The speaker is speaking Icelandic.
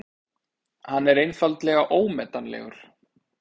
Hann er einfaldlega ómetanlegur.